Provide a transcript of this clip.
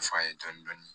F'a ye dɔɔnin-dɔɔnin